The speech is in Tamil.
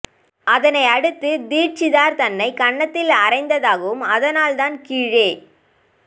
அதனை அடுத்து தீட்சிதர் தன்னைக் கன்னத்தில் அறைந்ததாகவும் அதனால் தான் கீழே